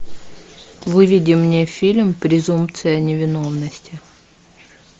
выведи мне фильм презумпция невиновности